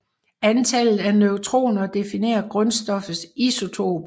Antallet af neutroner definerer grundstoffets isotop